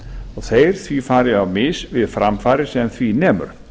og þeir því farið á mis við framfarir sem því nemur